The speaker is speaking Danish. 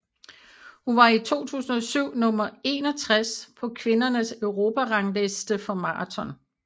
Hun var i 2007 nummer 61 på kvindernes Europarangliste for maraton